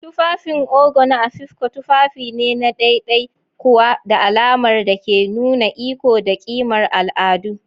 tufafin Ogo na Afikpo tufafi ne na ɗaiɗai kuwa da alamar da ke nuna iko da ƙimar al'adu.